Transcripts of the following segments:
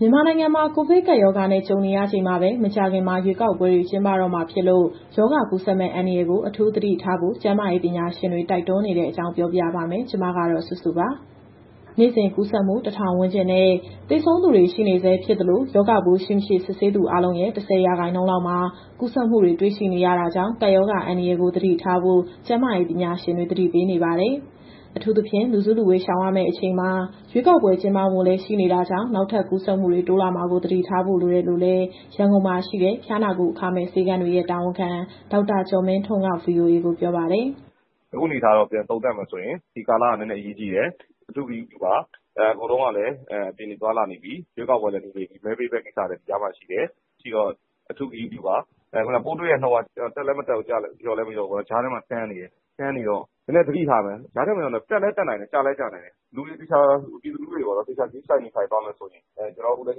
မြန်မာနိုင်ငံမှာ ကိုဗစ်ကပ်ရောဂါနဲ့ ကြုံနေရချိန်မှာပဲ မကြာခင် ရွေးကောက်ပွဲတွေ ကျင်းပတော့မှာမို့ ရောဂါကူးစက်မယ့် အန္တရာယ်ကို အထူးသတိထားဖို့ ကျန်းမာရေး ပညာရှင်တွေ တိုက်တွန်းနေတဲ့အကြောင်း ပြောပြပါမယ်။ ဗွီအိုအေမြန်မာပိုင်း သတင်းထောက် မစုစုက သတင်းပေးပို့ထားပါတယ်။ နေ့စဉ်ကူးစက်မှု ၁,၀၀၀ ဝန်းကျင်နဲ့ သေဆုံးသူတွေ ရှိနေဆဲ ဖြစ်သလို၊ ရောဂါပိုးရှိ၊ မရှိ စစ်ဆေးသူအားလုံးရဲ့ ၁၀ ရာခိုင်နှုန်းလောက်မှာ ကူးစက်မှုတွေ တွေ့ရှိနေရတာကြောင့် ကပ်ရောဂါအန္တရာယ်ကို သတိထားဖို့ ကျန်းမာရေး ပညာရှင်တွေ သတိပေးနေပါတယ်။ အထူးသဖြင့် လူစုလူဝေး ရှောင်ရမယ့်အချိန်မှာ ရွေးကောက်ပွဲ ကျင်းပဖို့လည်း ရှိနေတာကြောင့် နောက်ထပ် ကူးစက်မှုတွေ တိုးလာမှာကို သတိထားဖို့ လိုတယ်လို့လည်း ရန်ကုန်မှာရှိတဲ့ ဖျားနာကုအခမဲ့ဆေးခန်းတွေရဲ့ တာဝန်ခံ ဒေါက်တာကျော်မင်းထွန်းက VOA ကိုပြောပါတယ်။ "အခုအနေအထားကတော့ ပြန်သုံးသပ်ရမယ်ဆိုရင် ဒီကာလက နည်းနည်းအရေးကြီးတယ်၊ အထူးသတိပြုပါ။ အကုန်လုံးကလည်း အပြင်တွေသွားလာနေပြီ၊ ရွေးကောက်ပွဲလည်း နီးနေပြီ၊ မဲပေးမယ့်ကိစ္စကလည်း ဒီကြားမှာရှိတော့ အထူးဂရုစိုက်ပါ။ ပိုးတွေ့တဲ့နှုန်းကလည်း တက်လည်းမတက်၊ လျော့လည်း မလျော့ဘူးပေါ့နော်။ ကြားထဲမှာ တန်းနေတော့ နည်းနည်းသတိထားရမယ်။ ကြားထဲမှာရောက်နေတော့ တက်လည်းတက်နိုင်တယ်၊ ကျလည်းကျနိုင်တယ်။ ပြည်သူလူထုတွေ သေချာဂရုစိုက် နေထိုင်သွားမယ်ဆိုရင် အခုတန်း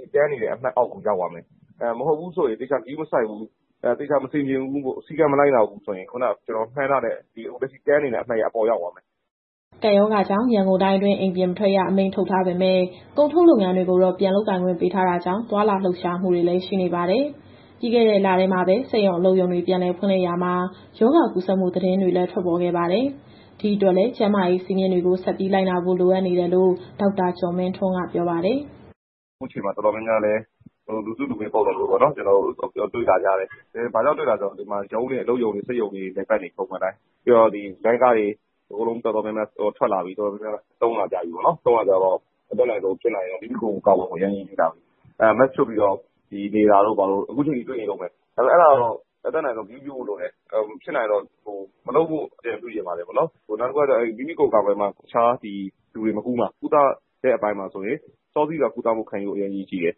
နေတဲ့ အမှတ်အောက်ကို ရောက်သွားမယ်။ အဲလိုမဟုတ်ဘဲ သေချာဂရုမစိုက်၊ မဆင်ခြင်၊ စည်းကမ်းမလိုက်နာဘူးဆိုရင် အခုလက်ရှိတန်းနေတဲ့ အပေါ်ကိုရောက်သွားမယ်။" ကပ်ရောဂါကြောင့် ရန်ကုန်တိုင်းအတွင်း အိမ်ပြင်မထွက်ရ အမိန့်ထုတ်ထားပေမဲ့ ကုန်ထုတ်လုပ်ငန်းတွေကိုတော့ ပြန်လုပ်ကိုင်ခွင့် ပေးထားတာကြောင့် သွားလာလှုပ်ရှားမှုတွေလည်း ရှိနေပါတယ်။ ပြီးခဲ့တဲ့လထဲမှာပဲ စက်ရုံ၊ အလုပ်ရုံတွေ ပြန်လည်ဖွင့်လှစ်ရာမှာ ရောဂါကူးစက်မှု သတင်းတွေလည်း ထွက်ပေါ်ခဲ့ပါတယ်။ ဒီအတွက်လည်း ကျန်းမာရေးစည်းမျဉ်းတွေကို ဆက်ပြီးလိုက်နာဖို့ လိုအပ်နေတယ်လို့ ဒေါက်တာကျော်မင်းထွန်းက ပြောပါတယ်။ "အခုချိန်မှာ တော်တော်များများ လူစုလူဝေးပုံစံမျိုး တွေ့လာရတယ်။ ဘာကြောင့်တွေ့လာရလဲဆိုတော့ ရုံးတွေ၊ စက်ရုံ၊ အလုပ်ရုံတွေက ပုံမှန်အတိုင်းပြန်လည်ပတ်နေပြီ။ ပြီးတော့ လိုင်းကားတွေတော်တော်များများ ထွက်လာပြီး သုံးလာကြပြီဆိုတော့ မိမိကိုယ်ကိုယ်ကာကွယ်ဖို့က အရေးကြီးလာပြီ။ Mask ချွတ်ပြီးနေတာ အခုထိတွေ့နေတုန်းပဲ။ အဲဒါကိုတော့ ဖြစ်နိုင်ရင် မလုပ်ဖို့အကြံပြုချင်တယ်။ နောက်တခုက မိမိကိုယ်ကိုယ်ကာကွယ်မှ တခြားသူကို မကူးမှာ။ ကုသတဲ့အပိုင်းမှာဆိုရင် စောစီးစွာ ကုသမှုခံယူဖို့ အရေးကြီးတယ်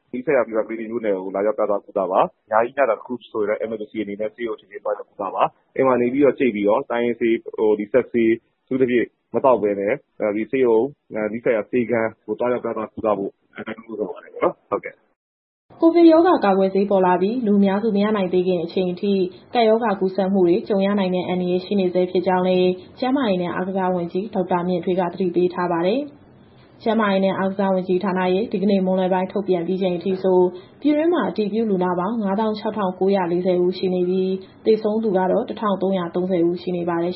။ နီးစပ်ရာမြို့နယ်က Fever Clinic မှာ လာရောက်ပြသ ကုသမှုခံယူပါ။ ညဘက်တခုခုဆိုရင်လည်း အရေးပေါ်အနေနဲ့ ဆေးရုံချက်ချင်းသွားရောက် ကုသပါ။ အိမ်မှာနေပြီးတော့ ကြိတ်ပြီးတော့ တိုင်းရင်းဆေး၊ စပ်ဆေးတွေကို အတတ်နိုင်ဆုံးမသောက်ဘဲနဲ့ ဆေးရုံ၊ ဆေးခန်းတွေကို သွားရောက်ကုသဖို့ တိုက်တွန်းနှိုးဆော်ပါတယ်။" ကိုဗစ်ရောဂါကာကွယ်ဆေး ပေါ်လာပြီး လူအများစု မရနိုင်သေးခင်အချိန်ထိ ကပ်ရောဂါကူးစက်မှုတွေ ကြုံရနိုင်တဲ့ အန္တရာယ် ရှိနေဆဲ ဖြစ်ကြောင်းလည်း ကျန်းမာရေးနဲ့အားကစားဝန်ကြီးဌာနဝန်ကြီး ဒေါက်တာမြင့်ထွေးက သတိပေးထားပါတယ်။ ကျန်းမာရေးနဲ့ အားကစားဝန်ကြီးဌာနရဲ့ ဒီကနေ့မွန်းလွဲပိုင်း ထုတ်ပြန်ပြီးချိန်အထိဆို ပြည်တွင်းမှာ အတည်ပြုလူနာပေါင်း ၅၆,၉၄၀ ဦးရှိနေပြီး၊ သေဆုံးသူကတော့ ၁,၃၃၀ ဦးရှိနေပါတယ်